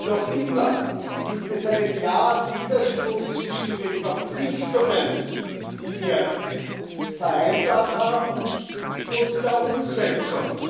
noch immer gibt es einen klaren Widerspruch zwischen den Verpflichtungen, die wir vereinbart haben, und der Umsetzung